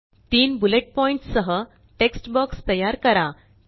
तीन bullet points सह text box तयार करा